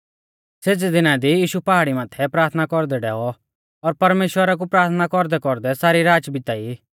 सेज़ै दिना दी यीशु पहाड़ी माथै प्राथना कौरदै डैऔ और परमेश्‍वरा कु प्राथना कौरदैकौरदै सारी राच बिताई